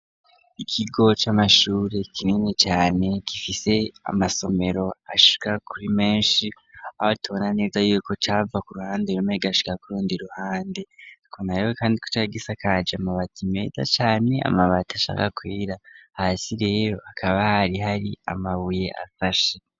Ikigo c'amashuri kinini cane gifise amasomero ashika kuri menshi, aho tubona neza yuko cava ku ruhande rumwe kigashika ku rundi ruhande. Tukemera rero kandi ko cari gisakaje amabati meza cane, amabati ashaka kwera. Hasi rero hakaba hari hari amabuye ashashe.